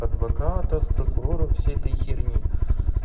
адвокатов прокуроров всей этой херне